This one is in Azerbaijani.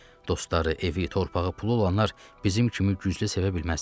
Dostları evi, torpağı, pulu olanlar bizim kimi güclü sevə bilməzlər.